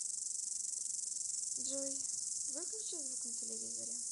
джой выключи звук на телевизоре